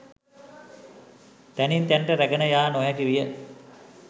තැනින් තැනට රැගෙන යා නොහැකි විය